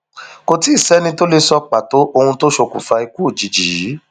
kò tì í sẹni tó lè sọ pàtó ohun tó ṣokùnfà ikú òjijì yìí